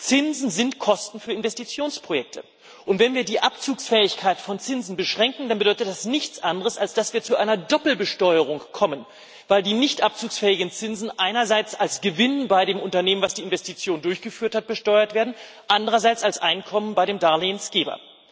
Zinsen sind Kosten für Investitionsprojekte, und wenn wir die Abzugsfähigkeit von Zinsen beschränken, dann bedeutet das nichts anderes, als dass wir zu einer Doppelbesteuerung kommen, weil die nicht abzugsfähigen Zinsen einerseits als Gewinn bei dem Unternehmen, das die Investitionen durchgeführt hat, besteuert werden, andererseits als Einkommen bei dem Darlehensgeber.